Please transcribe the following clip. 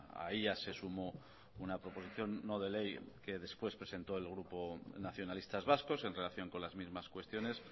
a ella se sumó una proposición no de ley que después presentó el grupo nacionalistas vascos en relación con las mismas cuestiones